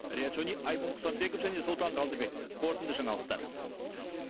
риат шони айбын құсанбеков және сұлтан қалдыбек қорытынды жаңалықтар